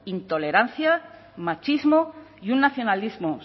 intolerancia machismo y un nacionalismo